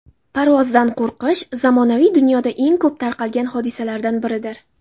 Parvozdan qo‘rqish zamonaviy dunyoda eng ko‘p tarqalgan hodisalardan biridir.